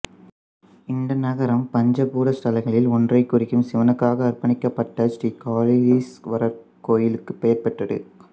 இந்த நகரம் பஞ்ச பூத ஸ்தலங்களில் ஒன்றைக் குறிக்கும் சிவனுக்காக அர்ப்பணிக்கப்பட்ட ஸ்ரீகாலஹஸ்தீஸ்வரர் கோயிலுக்கு பெயர் பெற்றது